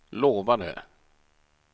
lovade